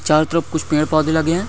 चारो तरफ कुच्छ पेड़ पौधे लगे है।